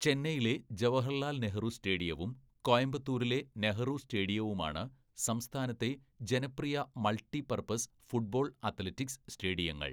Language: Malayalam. "ചെന്നൈയിലെ ജവഹർലാൽ നെഹ്റു സ്റ്റേഡിയവും കോയമ്പത്തൂരിലെ നെഹ്റു സ്റ്റേഡിയവുമാണ് സംസ്ഥാനത്തെ ജനപ്രിയ മൾട്ടി പർപ്പസ് ഫുട്ബോൾ, അത്ലറ്റിക്സ് സ്റ്റേഡിയങ്ങള്‍. "